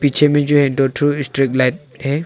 पीछे मे जो है दो ठू लाइट है।